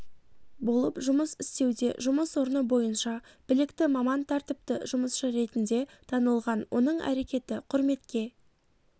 болып жұмыс істеуде жұмыс орны бойынша білікті маман тәртіпті жұмысшы ретінде танылған оның әрекеті құрметке